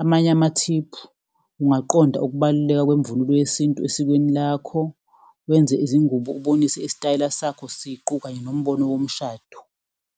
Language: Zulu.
Amanye amathiphu ungaqonda ukubaluleka kwemvunulo yesintu esikweni lakho, wenze izingubo, ubonise isitayela sakho siqu, kanye nombono womshado.